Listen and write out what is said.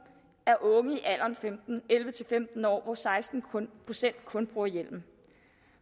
af unge i alderen elleve til femten år hvor kun seksten procent bruger hjelm